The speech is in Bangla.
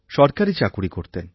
সরকারী চাকুরি করতেন